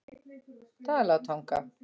Dalatanga